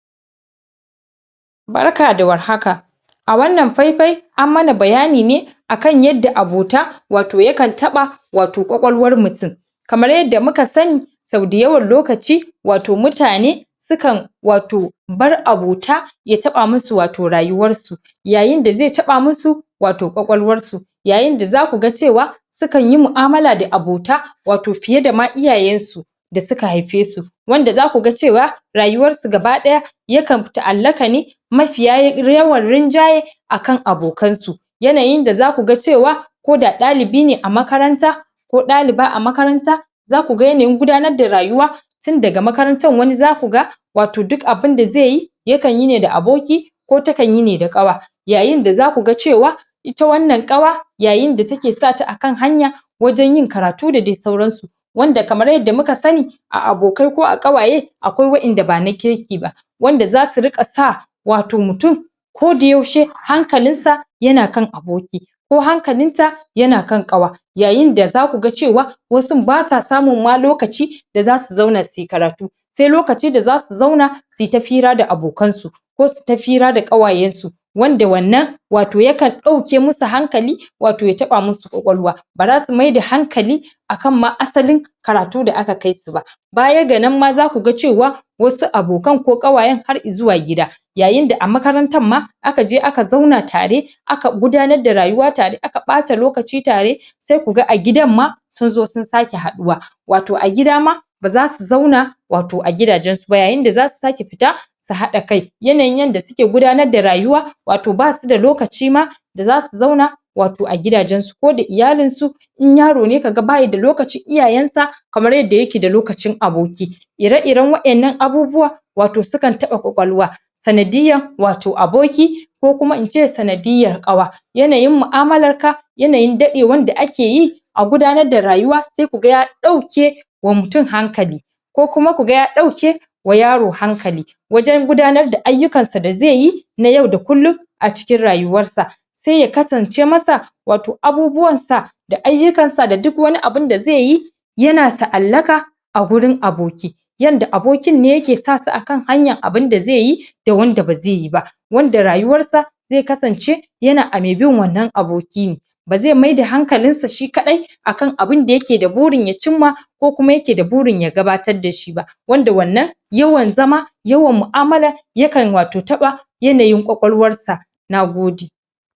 Barka da war haka a wannan faifai an mana bayani ne akan yadda abota wato ya kan taɓa wato ƙwaƙwalwar mutum kamar yadda muka sani sau dayawan lokaci wato mutane su kan wato bar abota ya taɓa musu wato rayuwarsu yayin da ze taɓa musu wato ƙwaƙwalwarsu yayin da za ku ga cewa su kan yi mu'amala da abota wato fiye da ma iyayensu da suka haife su wanda za ku ga cewa rayuwarsu gaba-ɗaya ya kan ta'allaƙa ne mafiya yawan rinjaye akan abokansu yanayin da za su ga cewa ko da ɗalibi ne a makaranta ko ɗaliba a makaranta za ku ga yanayin gudanar da rayuwa tun daga makarantar wani za ku ga wato duk abin da ze yi ya kan yi ne da aboki ko ta kan yi ne da ƙawa yayin da za ku ga cewa ita wannan ƙawa yayin da take sa ta akan hanya wajen yin karatu da de sauransu wanda kamar yadda muka sani a abokai ko a ƙawaye akwai waƴanda ba na kirki ba wanda za su rika sa wato mutum ko da yaushe hankalinsa yana kan aboki ko hankalinta yana kan ƙawa yayin da za ku ga cewa wasun ba sa samun ma lokaci da za su zauna su yi karatu se lokaci da za su zauna su yi ta fira da abokansu ko su yi ta fira da ƙawayensu wanda wannan wato ya kan ɗauke musu hankali wato ya taba musu ƙwaƙwalwa ba ra su maida hankali akan ma asalin karatu da aka kai su ba baya ga nan ma za ku ga cewa wasu abokan ko ƙawayen har izuwa gida yayin da a makarantan ma aka je aka zauna tare aka gudanar da rayuwa tare aka ɓata lokaci tare se ku ga a gidan ma sun zo sun sake haɗuwa wato a gida ma ba za su zauna wato a gidajensu yayin da za su sake fita su haɗa kai yanayin yanda suke gudanar da rayuwa wato ba su da lokaci ma da za su zauna wato a gidajensu ko da iyalinsu in yaro ne ka ga ba ya da lokaci iyayensa kamar yadda yake da lokacin aboki ire-iren waƴannan abubuwa wato su kan taɓa ƙwaƙwalwa sanadiyan wato aboki ko kuma ince sanadiyar ƙawa yanayin mu'amalrka yanayin daɗewan da ake yi a gudanar da rayuwa sai ku ga ɗauke wa mutum hankali ko kuma ku ga ya ɗauke wa yaro hankali wajen gudanar da ayyukansa da ze yi na yau da kullum a cikin rayuwarsa se ya kasance masa wato abubuwansa da ayyukansa da duk wani abun da ze yi yana ta'allaka a gurin aboki yanda abokin nan yake sa su a kan hanyar abin da ze yi da wanda ba ze yi ba wanda rayuwarsa ze kasance yana a me bin wannan aboki ne ba ze maida hankalinsa shi kaɗai akan abin da yake da burin ya cimma ko kuma yake da burin ya gabatar da shi ba wanda wannan yawan zama yawan mu'amala ya kan wato taɓa yanayin ƙwaƙwalwarsa